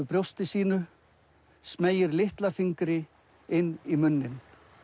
brjósti sínu smeygir litla fingri inn í munninn